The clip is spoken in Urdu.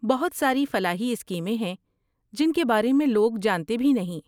بہت ساری فلاحی اسکیمیں ہیں جن کے بارے میں لوگ جانتے بھی نہیں۔